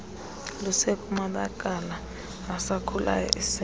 lusekumabakala asakhulayo isende